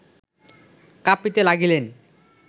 কাঁপিতে লাগিলেন